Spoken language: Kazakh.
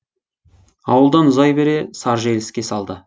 ауылдан ұзай бере саржеліске салды